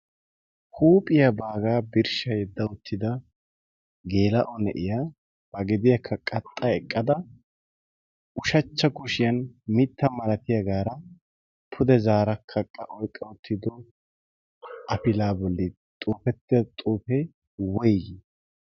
huuphiyaa baagaa birshsha yedda uttida geela ne'iyaa ba gediyaakka qaxxa eqqada ushachcha kushiyan mitta malatiyaagaara pude zaara kaqqa oyqqa uttido afilaa bolli xuufettida xuufee woygiii